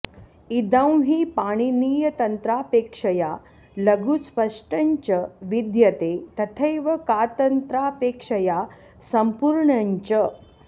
इदं हि पाणिनीयतन्त्रापेक्षया लघु स्पष्टञ्च विद्यते तथैव कातन्त्रापेक्षया सम्पूर्णञ्च